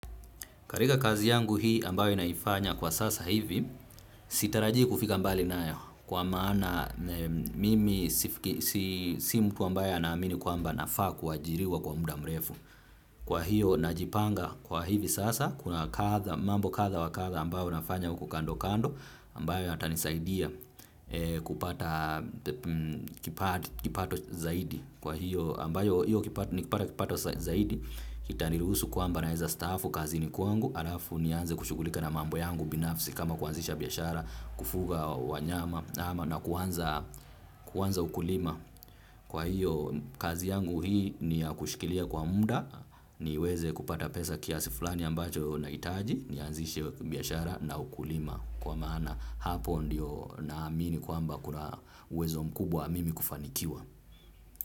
Katika kazi yangu hii ambayo naifanya kwa sasa hivi, sitarajii kufika mbali nayo kwa maana mimi si mtu ambayo anaamini kwamba nafaa kuajiriwa kwa muda mrefu. Kwa hiyo najipanga kwa hivi sasa, kuna mambo kadha wa kadha ambao nafanya huku kando kando ambayo yatanisaidia kupata kipato zaidi. Kwa hiyo ambayo hiyo nikipata kipato zaidi itaniruhusu kwamba naweza staafu kazini kuangu halafu nianze kushughulika na mambo yangu binafsi kama kuanzisha biashara, kufuga wanyama na kuanza ukulima. Kwa hiyo kazi yangu hii ni ya kushikilia kwa muda. Niweze kupata pesa kiasi fulani ambacho nahitaji. Nianzishe biashara na ukulima, kwa maana hapo ndiyo naamini kwamba kuna uwezo mkubwa mimi kufanikiwa.